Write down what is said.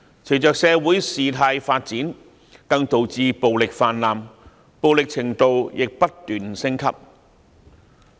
隨着社會事態發展，更導致暴力泛濫，暴力程度亦不斷升級。